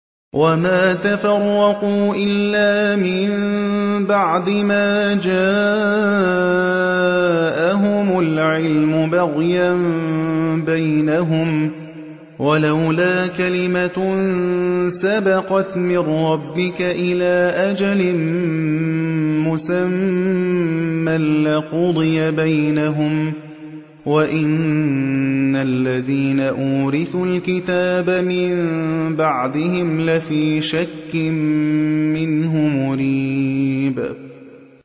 وَمَا تَفَرَّقُوا إِلَّا مِن بَعْدِ مَا جَاءَهُمُ الْعِلْمُ بَغْيًا بَيْنَهُمْ ۚ وَلَوْلَا كَلِمَةٌ سَبَقَتْ مِن رَّبِّكَ إِلَىٰ أَجَلٍ مُّسَمًّى لَّقُضِيَ بَيْنَهُمْ ۚ وَإِنَّ الَّذِينَ أُورِثُوا الْكِتَابَ مِن بَعْدِهِمْ لَفِي شَكٍّ مِّنْهُ مُرِيبٍ